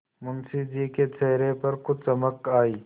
मुंशी जी के चेहरे पर कुछ चमक आई